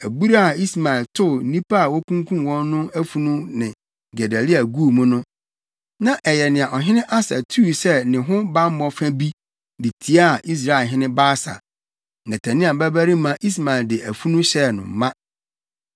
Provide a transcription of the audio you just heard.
Abura a Ismael tow nnipa a okunkum wɔn no afunu ne Gedalia guu mu no, na ɛyɛ nea ɔhene Asa tuu sɛ ne ho bammɔ fa bi de tiaa Israelhene Baasa. Netania babarima Ismael de afunu hyɛɛ no ma.